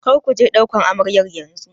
Kar ku je ɗauko amaryar yanzu!